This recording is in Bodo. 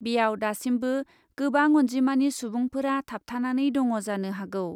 बेयाव दासिमबो गोबां अन्जिमानि सुबुंफोरा थाबथानानै दङ जानो हागौ ।